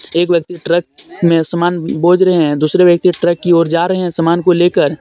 एक व्यक्ति ट्रक में समान बोझ रहे हैं दूसरे व्यक्ति ट्रक की और जा रहे हैं समान को लेकर.